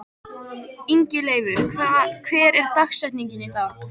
Ingileifur, hver er dagsetningin í dag?